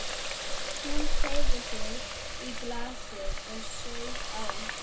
Hún teygði sig í glasið og saup á.